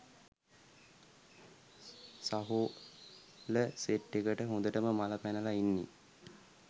සහෝල set එකට හොඳටම මල පැනල ඉන්නෙ